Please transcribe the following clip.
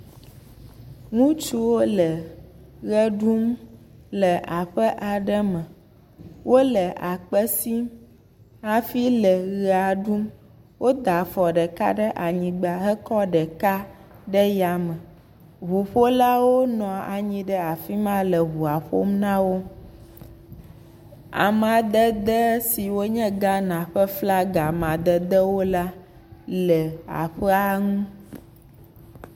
Ŋutsuwo le ʋe ɖum le aɔe aɖe, me, wole akpe sim hafi le ʋe ɖum woda afɔ ɖeka ɖe anyigba hekɔ ɖeka ɖe yame, ŋuƒolawo nɔ anyi ɖe afi ma le ŋua ƒom na wo, amaded siwo nye Ghana flaga la le aƒea ŋu.